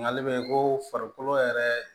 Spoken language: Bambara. Nkali bɛ ko farikolo yɛrɛ